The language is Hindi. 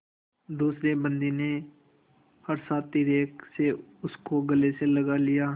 दूसरे बंदी ने हर्षातिरेक से उसको गले से लगा लिया